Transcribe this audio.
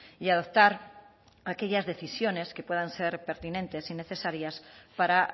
y adoptar aquellas decisiones que puedan ser pertinentes y necesarias para